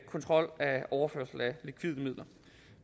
kontrol af overførsel af likvide midler